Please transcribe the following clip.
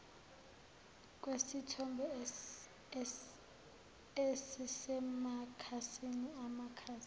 kwesithombe esisemakhasini amakhasi